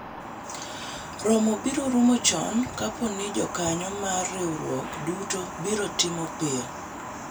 romo biro rumo chon kapo ni jokanyo mar riwruok duto biro timo piyo